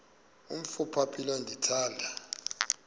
umf ophaphileyo ndithanda